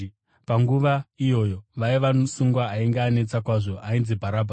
Panguva iyoyo vaiva nomusungwa ainge anetsa kwazvo ainzi Bharabhasi.